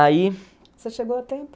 Aí... Você chegou a tempo?